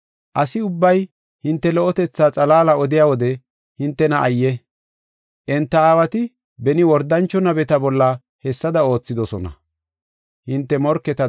Asi ubbay hinte lo77otetha xalaala odiya wode hintena ayye! Enta aawati beni wordancho nabeta bolla hessada oothidosona.